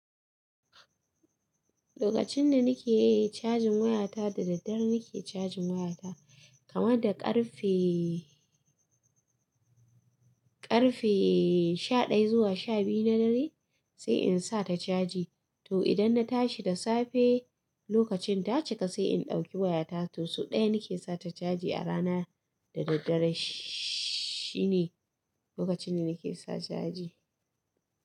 Lokacin da nike cajin wayata da daddare nike cajin wayata kamar da ƙarfe, ƙarfe shaɗaya zuwa sha biyu na dare sai in sa ta caji. To idan na tashi da safe lokacin ta cika sai in ɗauki wayata. To so ɗaya nike sa ta caji a rana da daddare shi ne lokacin da nike sa caji.